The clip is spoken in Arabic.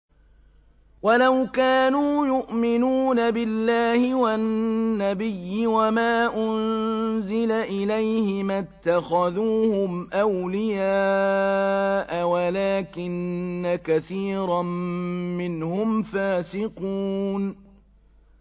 وَلَوْ كَانُوا يُؤْمِنُونَ بِاللَّهِ وَالنَّبِيِّ وَمَا أُنزِلَ إِلَيْهِ مَا اتَّخَذُوهُمْ أَوْلِيَاءَ وَلَٰكِنَّ كَثِيرًا مِّنْهُمْ فَاسِقُونَ